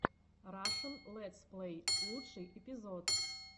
рашн летсплэй лучший эпизод